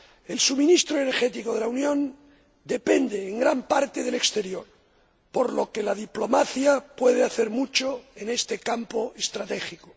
El suministro energético de la Unión depende en gran parte del exterior, por lo que la diplomacia puede hacer mucho en este campo estratégico.